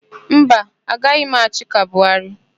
Mba, agaghị m achị ka Buharị.